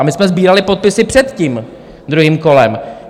A my jsme sbírali podpisy před tím druhým kolem.